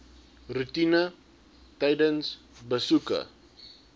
roetine tydens besoeke